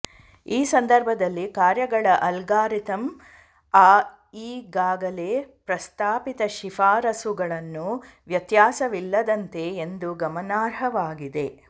ಈ ಸಂದರ್ಭದಲ್ಲಿ ಕಾರ್ಯಗಳ ಅಲ್ಗಾರಿದಮ್ ಆ ಈಗಾಗಲೇ ಪ್ರಸ್ತಾಪಿತ ಶಿಫಾರಸುಗಳನ್ನು ವ್ಯತ್ಯಾಸವಿಲ್ಲದಂತೆ ಎಂದು ಗಮನಾರ್ಹವಾಗಿದೆ